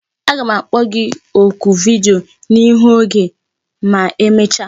Aga m akpọ gi oku vidiyo n'ihu oge ma emecha